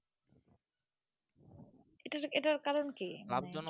এটার এটার কারণ কি লোভ জনক।